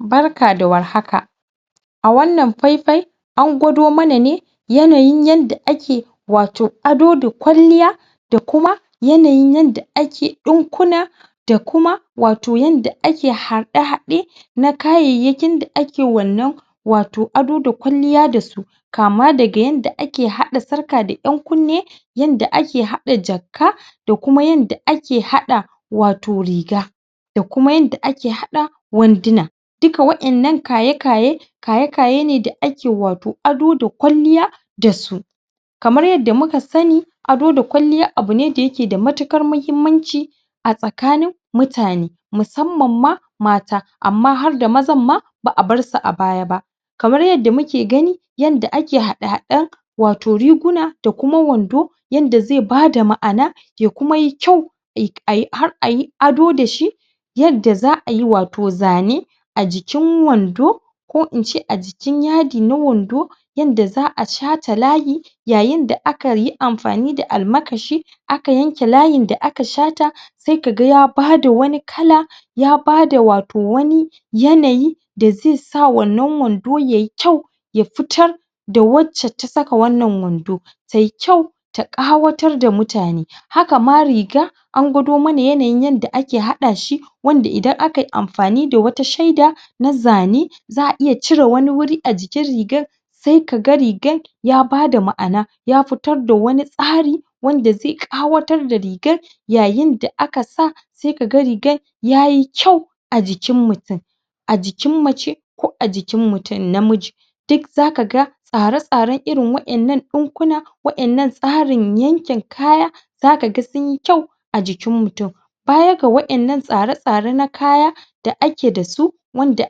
Barka da warhaka a wannan faifai an gwado mana ne yanayin yanda ake wato ado da kwalliya da kuma yanayin yanda ake ɗinkuna da kuma wato yanda ake harɗe-haɗe na kayayyakin da ake wannan ato ado da kwalliya da su kama daga yanda ake haɗa sarƙa da ƴankunne yanda ake haɗa jakka da kuma yanda ake haɗa wato riga da kuma yanda ake haɗa wanduna duka wa'innan kaye-kaye kaye-kaye ne da ake wato ado da kwalliya da su kamar yanda muka sani ado da kwalliya abu ne da yake da matukar mahimmanci a tsakanin mutane musamman ma mata amma har da mazan ma ba a barsu a baya ba kamar yanda muke gani yanda ake haɗe-haɗen wato riguna da kuma wando yanda zai bada ma'ana ya kuma yi kyau har a yi ado da shi yanda za ayi wato zane a jikin wando ko in ce a jikin yadi na wando wanda za a shata layi yayinda aka yi amfani da almakashi aka yanka layin da aka shata sai ka aga ya bada wani kala ya bada wato wani yanayi da zai sa wannan wado yayi kyau ya fitar wacce ta saka wannan wando ta yi kyau ta ƙawatar da mutane haka ma riga an gwado mana yanayin yanda ake haɗashi wanda idan aka yi amafani da wata shaida na zane za a iya cire wani wuri a jikin rigan sai ka ga rigan ya bada ma'ana ya fitar da wani tsari wanda zai ƙawatar da rigar yayinda aka sa sai ka ga rigar ya yi kyau a jikin mutum a jikin mace ko a jikin mutum namiji duk za ka ga tsare-tsaren irin wa'innan ɗinkuna wa'innan tsarin yankin kaya zaka ga sun yi kyau jiki mutum baya ga wa'innan tsare-tsare na kaya da ake dasu wanda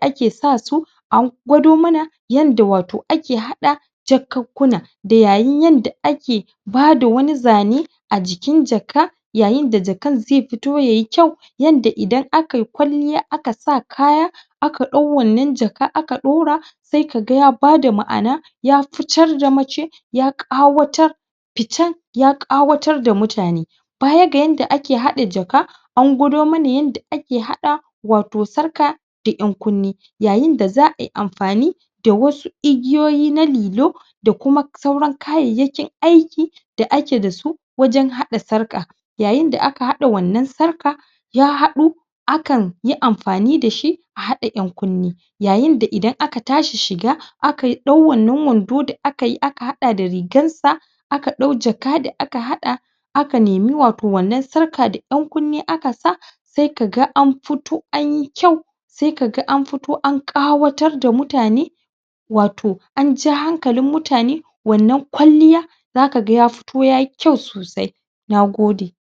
ake sa su an gwado mana yanda wtao ake haɗa jakakkuna da yayin yanda ake bada wani zane a jikin jakka yayin da jakan zai fito ya yi kyau yanda idan akayi kwalliya aka sa kaya aka ɗau wannan jaka aka ɗaura sai ka ga ya bada ma'ana ya fitar da mace ya ƙawatar fitan ya ƙawatar da mutane baya ga yanda ake haɗa jaka an gwado mana yanda ake haɗa wato sarka da ƴankunne yayinda za a yi amfani da wasu igiyoyi na lilo da kuma sauran kayayyakin aiki da ake da su wajen haɗa sarƙa yayinda da aka haɗa wannan sarƙa ya haɗu akan yi amfani da shi a haɗa ƴankunne yayinda idan aka tashi shiga akayi ɗan wannan wando da akayi aka haɗa da rigarsa aka ɗau jaka da aka haɗa aka nimi wato wannan sarka da ƴankunne aka sa sai ka ga an fito an yi kyau sai ka ga an fito an ƙawatar da mutane wato an ja hanjalin mutane wannan kwalliya zakaga ya fito yayi kyau sosai na gode.